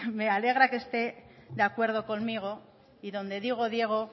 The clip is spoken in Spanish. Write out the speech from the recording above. me alegra que esté de acuerdo conmigo y donde digo diego